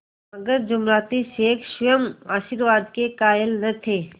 मगर जुमराती शेख स्वयं आशीर्वाद के कायल न थे